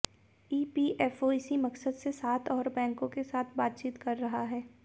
EPFO इसी मकसद से सात और बैंकों के साथ बातचीत कर रहा है